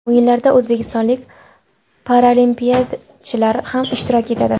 O‘yinlarda o‘zbekistonlik paralimpiyachilar ham ishtirok etadi.